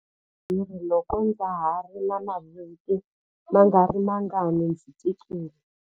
Ndzi humele hi khwiri loko ndza ha ri na mavhiki mangarimangani ndzi tikile.